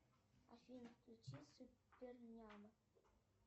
афина включи супер няня